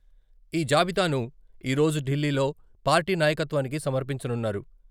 ఈ జాబితాను ఈరోజు ఢిల్లీలో పార్టీ నాయకత్వానికి సమర్పించనున్నారు.